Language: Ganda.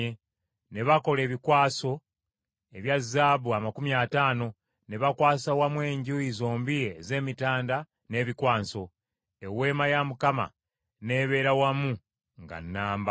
Ne bakola ebikwaso ebya zaabu amakumi ataano, ne bakwasa wamu enjuuyi zombi ez’emitanda n’ebikwaso; Eweema n’ebeera wamu nga nnamba.